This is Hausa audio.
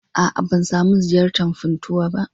A'a, ban samu ziyartar Funtuwa ba.